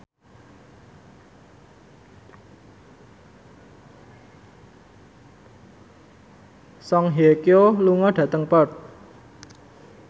Song Hye Kyo lunga dhateng Perth